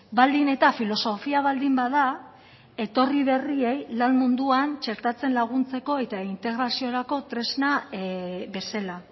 baldin eta filosofia baldin bada etorri berriei lan munduan txertatzen laguntzeko eta integraziorako tresna bezala